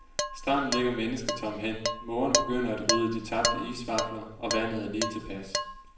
Stranden ligger mennesketom hen, mågerne begynder at rydde de tabte isvafler, og vandet er lige tilpas.